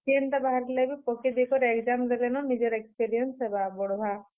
ଯେନ୍ ଟା ବାହାରଲେ ବି ପକେଇଦେଇ କରି exam ଦେଇ ଦେମା ନିଜର experience ହେବା, ବଢବା।